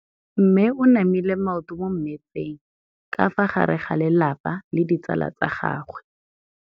Mme o namile maoto mo mmetseng ka fa gare ga lelapa le ditsala tsa gagwe.